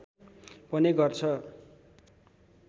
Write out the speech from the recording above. पनि गर्छ